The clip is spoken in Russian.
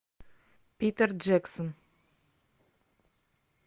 питер джексон